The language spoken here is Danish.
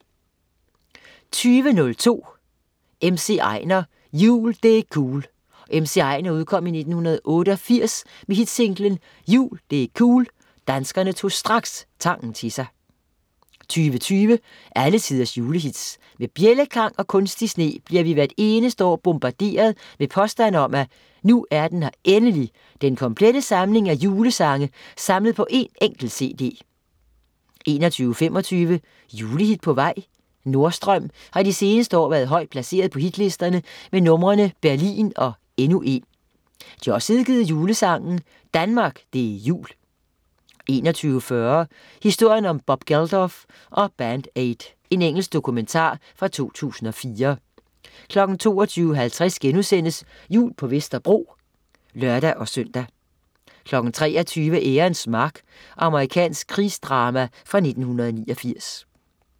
20.02 MC Einar "Jul - Det' cool" MC Einar udkom i 1988 med hitsinglen "Jul - Det' cool". Danskerne tog straks sangen til sig 20.20 Alle tiders julehits. Med bjældeklang og kunstig sne bliver vi hvert eneste år bombarderet med påstande om, at "nu er den her endelig: den komplette samling af julesange samlet på en enkelt cd" 21.25 Julehit på vej? Nordstrøm har de seneste år været højt placeret på hitlisterne med numrene "Berlin" og "Endnu en". De har også udgivet julesangen "Danmark, Det er Jul" 21.40 Historien om Bob Geldof og Band Aid. Engelsk dokumentar fra 2004 22.50 Jul på Vesterbro* (lør-søn) 23.00 Ærens mark. Amerikansk krigsdrama fra 1989